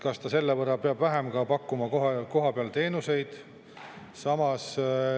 Kas nad selle võrra peavad vähem kohapeal teenuseid pakkuma?